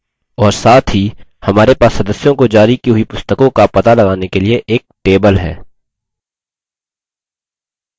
और साथ ही हमारे पास स्स्दस्यों को जारी की हुई पुस्तकों को पता लगाने के लिए एक table है